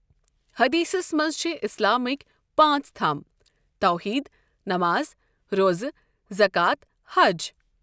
حدیثس منٛز چھِ اِسلامٕکی پانٛژھ تَھم توحیٖد، نؠماز، روزٕ، زکات، حج۔